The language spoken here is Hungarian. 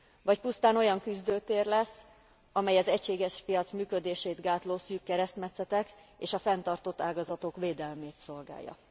Vagy pusztán olyan küzdőtér lesz, amely az egységes piac működését gátló szűk keresztmetszetek és a fenntartott ágazatok védelmét szolgálja.